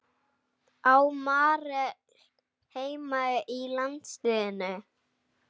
Á Marel heima í landsliðinu?